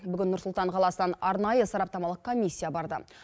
бүгін нұр сұлтан қаласынан арнайы сараптамалық комиссия барды